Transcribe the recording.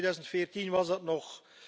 In 2014 was dat nog